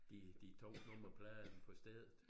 De de tog nummerpladen på stedet